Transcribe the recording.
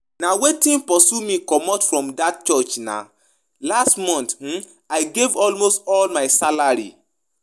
Na wetin pursue me comot from dat church nah, last month um I gave almost all my salary